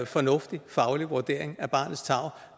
fornuftig faglig vurdering af barnets tarv